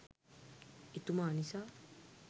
එතුමා නිසා